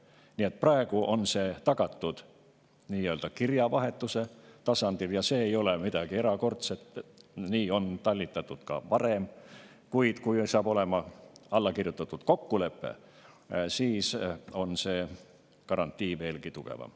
Nii et praegu on tagatud kirjavahetuse tasandil – see ei ole midagi erakordset, nii on talitatud ka varem –, kuid kui edaspidi on olemas allkirjastatud kokkuleppe, siis on garantii veelgi tugevam.